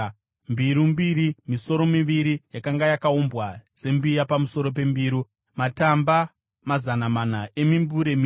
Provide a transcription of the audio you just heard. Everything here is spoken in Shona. mbiru mbiri; misoro miviri yakanga yakaumbwa sembiya pamusoro pembiru; mimbure miviri yakanga yakashongedza misoro miviri yakanga yakaumbwa pamusoro pembiru;